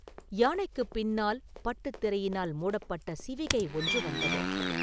யானைக்குப் பின்னால் பட்டுத் திரையினால் மூடப்பட்ட சிவிகை ஒன்று வந்தது.